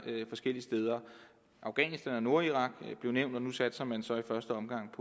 forskellige steder afghanistan og nordirak blev nævnt og nu satser man så i første omgang